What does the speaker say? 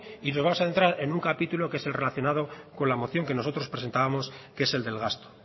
y nos vamos a centrar en un capítulo que es el relacionado con la moción que nosotros presentábamos que es el del gasto